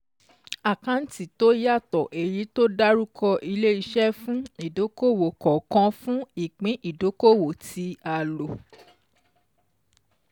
Àkáǹtì tó yàtọ̀ èyí tó dárúkọ Ile-Iṣẹ fún ìdókòòwò kọ̀ọ̀kan fún ìpín ìdókoòwò tí a lò.